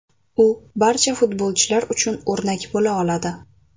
U barcha futbolchilar uchun o‘rnak bo‘la oladi.